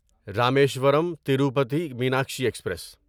Rameswaram Tirupati Meenakshi express